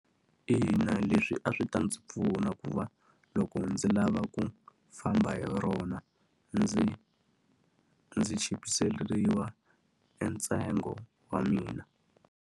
Ina leswi a swi ta ndzi pfuna ku va loko ndzi lava ku famba hi rona, ndzi ndzi chipiseriwa e ntsengo wa mina.